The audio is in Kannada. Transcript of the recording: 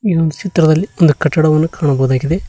ಈ ಒಂದು ಚಿತ್ರದಲ್ಲಿ ಒಂದು ಕಟ್ಟಡವನ್ನು ಕಾಣಬಹುದಾಗಿದೆ.